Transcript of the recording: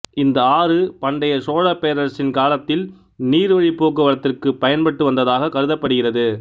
இந்த ஆறு பண்டைய சோழப்பேரரசின் காலத்தில் நீர்வழிப்போக்குவரத்திற்குப் பயன்பட்டு வந்ததாகக் கருதப்படுகிறதுு